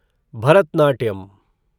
Bharatanatyam